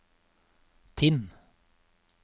Tinn